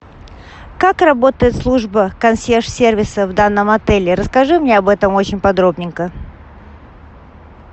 как работает служба консьерж сервиса в данном отеле расскажи мне об этом очень подробненько